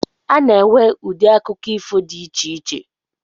A na-enwe ụdị akụkọ ifo di icheiche